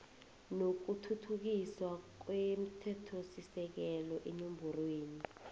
nokuthuthukiswa komthethosisekelo eenomborweni